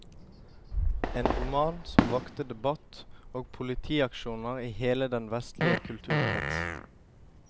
En roman som vakte debatt og politiaksjoner i hele den vestlige kulturkrets.